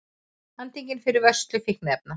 Handtekinn fyrir vörslu fíkniefna